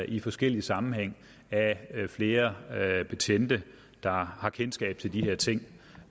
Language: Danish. i forskellige sammenhænge af flere betjente der har kendskab til de her ting